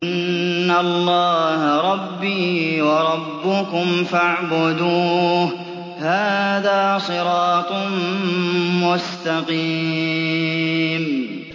إِنَّ اللَّهَ رَبِّي وَرَبُّكُمْ فَاعْبُدُوهُ ۗ هَٰذَا صِرَاطٌ مُّسْتَقِيمٌ